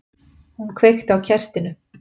Hún kveikti á kertinu.